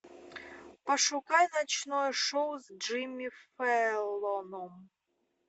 пошукай ночное шоу с джимми фэллоном